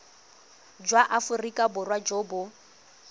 jwa aforika borwa jo bo